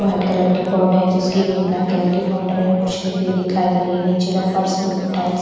बहोत कलर की बर्डर है जिसकी ब्लैक कलर की बॉर्डर है कुछ लड़की भी दिखाई दे रही है नीचे का फर्श टाइल्स --